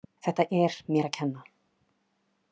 Þetta er mér að kenna.